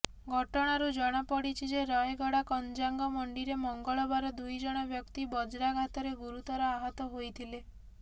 ଘଟଣାରୁ ଜଣାପଡିଛି ଯେ ରାୟଗଡ଼ା କଞ୍ଜାଙ୍ଗମଣ୍ଡିରେ ମଙ୍ଗଳବାର ଦୁଇଜଣ ବ୍ୟକ୍ତି ବଜ୍ରାଘାତରେ ଗୁରୁତର ଆହତ ହୋଇଥିଲେ